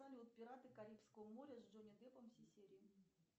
салют пираты карибского моря с джонни деппом все серии